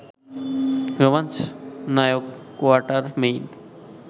রোমাঞ্চ নায়ক কোয়াটারমেইন